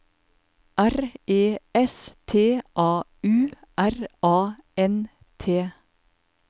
R E S T A U R A N T